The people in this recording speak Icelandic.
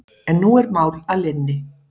En nú er mál að linni.